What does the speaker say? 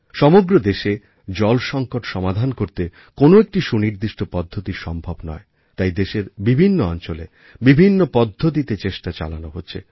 সমগ্র দেশে জল সংকট সমাধান করতে কোনো একটি সুনির্দিষ্ট পদ্ধতি সম্ভব নয় তাই দেশের বিভিন্ন অঞ্চলে বিভিন্ন পদ্ধতিতে চেষ্টা চালানো হচ্ছে